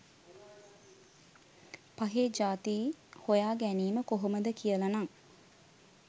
පහේ ජාති හොයා ගැනීම කොහොමද කියලනං